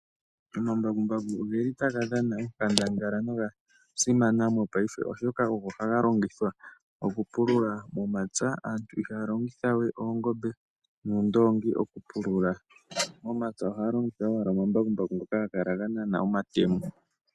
Omambakumbaku oge li taga dhana onkandangala noga simana mopaife, oshoka ohaga longithwa oku pulula momapya, aantu ihaya longitha we oongombe noondongi okupulula momapya, ohaya longitha owala omambakumbaku ngoka haga kala ganana omatemo